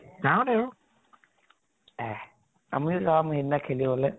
গাৱঁতে আৰু। এহ আমিও যাম সিদিনা খেলিবলৈ।